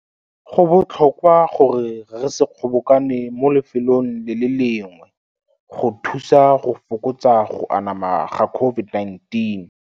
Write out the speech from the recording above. Go botlhokwa gore re se kgobokane mo lefelong le le lengwe go thusa go fokotsa go anama ga COVID-19.